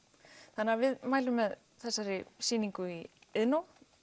þannig að við mælum með þessari sýningu í Iðnó